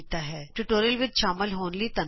ਇਸ ਟਿਯੂਟੋਰਿਅਲ ਵਿਚ ਸ਼ਾਮਲ ਹੋਣ ਲਈ ਧੰਨਵਾਦ